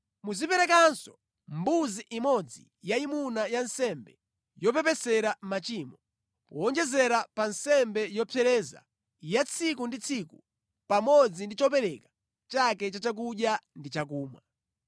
Muziperekanso mbuzi imodzi yayimuna ya nsembe yopepesera machimo, powonjezera pa nsembe yopsereza ya tsiku ndi tsiku pamodzi ndi chopereka chake cha chakudya ndi chakumwa.